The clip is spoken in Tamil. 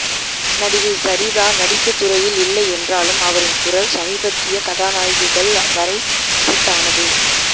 நடிகை சரிதா நடிப்புத்துறையில் இல்லை என்றாலும் அவரின் குரல் சமீபத்திய கதாநாயகிகள் வரை செட் ஆனது